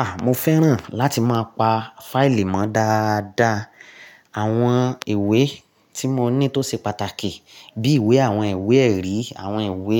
Ah! Mo fẹ́ràn láti máa pa fáìlì mọ́ dáadáa. Àwọn ìwé tí mo ní tó ṣe pàtàkì bí ìwé àwọn ìwé ẹ̀rí, àwọn ìwé